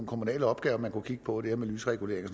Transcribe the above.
kommunale opgaver man kunne kigge på der med lysregulering og